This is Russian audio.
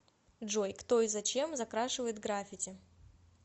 джой кто и зачем закрашивает граффити